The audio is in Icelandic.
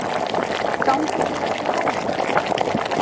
Gangi þér allt í haginn, Petra.